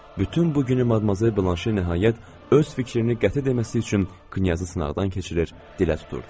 Bütün bu günü madmazel Blanşe nəhayət öz fikrini qəti deməsi üçün knyazı sınaqdan keçirir, dilə tuturdu.